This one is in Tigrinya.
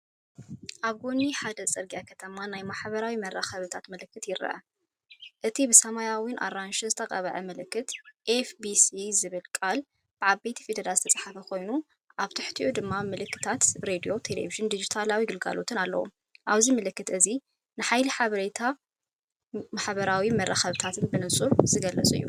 ኣብ ጎኒ ሓደ ጽርግያ ከተማ ናይ ማሕበራዊ መራኸቢታት ምልክት ይርአ። እቲ ብሰማያውን ኣራንሺን ዝተቐብአ ምልክት፡“ኤፍቢሲ”ዝብል ቃል ብዓበይቲ ፊደላት ዝተጻሕፈ ኮይኑ፡ኣብ ትሕቲኡ ድማ ምልክታት ሬድዮ፡ቴሌቪዥንን ዲጂታላዊ ኣገልግሎታትን ኣለዉ። እዚ ምልክት እዚ ንሓይሊ ሓበሬታን ማሕበራዊ መራኸቢታትን ብንጹር ዝገልጽ እዩ።